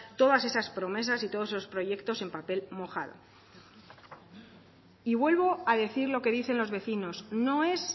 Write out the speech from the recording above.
todas esas promesas y todos esos proyectos en papel mojado y vuelvo a decir lo que dicen los vecinos no es